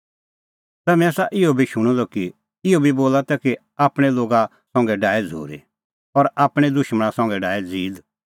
तम्हैं आसा इहअ बी शूणअ द कि इहअ बी बोला तै कि आपणैं लोगा संघै डाहै झ़ूरी और आपणैं दुशमणा संघै डाहै ज़ीद